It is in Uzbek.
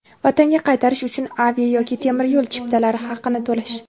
Vatanga qaytarish uchun avia yoki temir yo‘l chiptalari haqini to‘lash;.